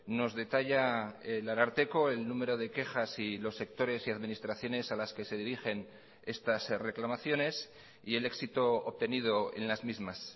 nos detalla el ararteko el número de quejas y los sectores y administraciones a las que se dirigen estas reclamaciones y el éxito obtenido en las mismas